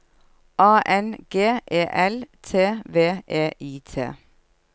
A N G E L T V E I T